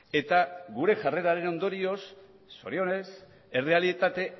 eta gure jarreraren ondorioz zorionez errealitate